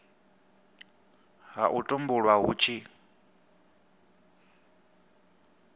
ha u tumbulwa hu tshi